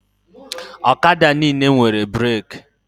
Ọkada niile nwere breki